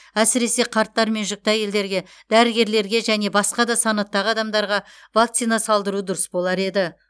әсіресе қарттар мен жүкті әйелдерге дәрігерлерге және басқа да санаттағы адамдарға вакцина салдыру дұрыс болар еді